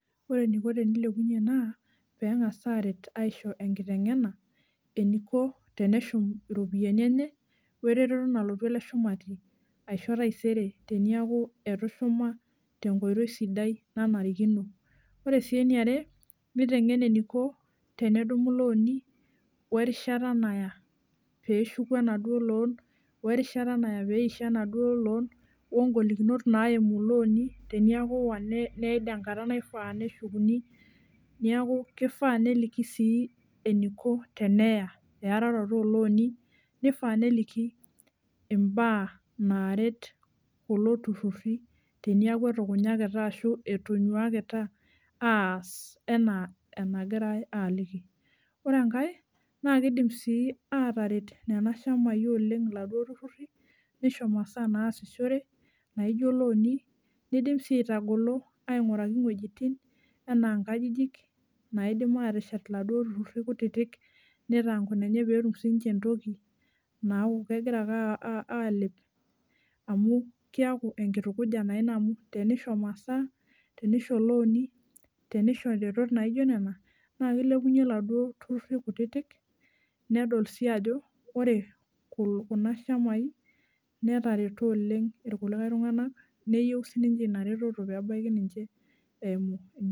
Ore eniko pilepunyie naa pengas aret aisho enkitengena eniko teneshum iropiyiani enye wereteto nalotu ele shumati aisho taisere teniaku etushuma tenkoitoi sidai nanarikino. Ore si eniare nitengen eniko tenedumu ilooni werishata naya peshuku enaduo loan werishata naya peisho enaduo loan, ongolikinot naimu loani teniaku iwa neid enkata naifaa neshukuni , niaku kifaa neliki sii eniko teneya eararoto olooni , nifaa neliki imbaa naret kulo tururi teniaku etukunyakita ashu etonyuakita aas enaa enagirae aliki . Ore enkae naa kidim sii ataret nena shamai oleng iladuo tururi , nisho masaa naasishore naijo looni , nidim si aitagolo ainguraki iwuejitin anaa nkajijik naidim ateshet iladuo tururi kutitik , nitaa nkunenye pee etum sininche entoki naaku kegira ake aa alep amu kiaku enkitukuja naa ina amu tenisho masaa , tenisho looni , nisho retot naijo nena , naa kilepunyie laduo tururi kutitik , nedol si ajo ore kuna shamai netareto oleng irkulikae tunganak neyieu sininche inareteto pebaiki ninche eimu.